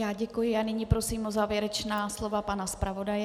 Já děkuji a nyní prosím o závěrečná slova pana zpravodaje.